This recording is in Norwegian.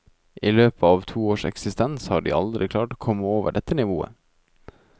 I løpet av to års eksistens har de aldri klart å komme over dette nivået.